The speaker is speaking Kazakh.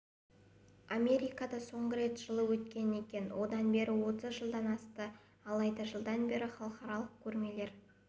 америкада соңғы рет жылы өткен екен одан бері отыз жылдан асты алайда жылдан бері халықаралық көрмелер